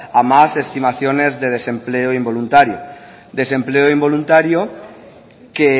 a más estimaciones de desempleo involuntario desempleo involuntario que